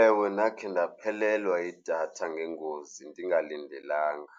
Ewe, ndakhe ndaphelelwa yidatha ngengozi ndingalindelanga.